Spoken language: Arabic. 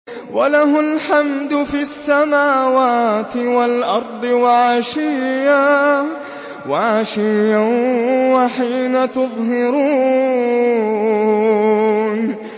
وَلَهُ الْحَمْدُ فِي السَّمَاوَاتِ وَالْأَرْضِ وَعَشِيًّا وَحِينَ تُظْهِرُونَ